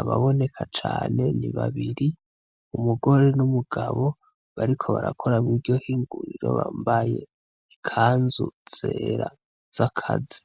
Ababoneka cane ni babiri, umugore n'umugabo bariko barakora mw'iryo hinguriro bambaye ikanzu zera z'akazi.